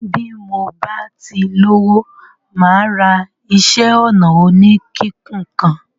Bí mo bá ti lówó mà á ra iṣẹ́-ọnà oníkíkùn kàn.